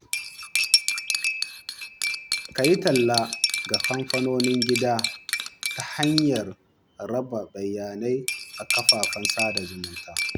Ka yi talla ga kamfanonin gida ta hanyar raba bayanai a kafafen sada zumunta.